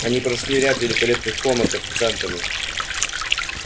они прошли ряд великолепных комнат официантами